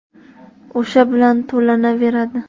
O‘sha bilan to‘lanaveradi.